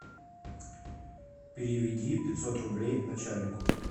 переведи пятьсот рублей начальнику